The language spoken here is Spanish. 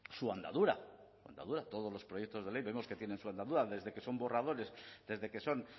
su andadura su andadura todos los proyectos de ley vemos que tienen su andadura desde que son borradores desde que son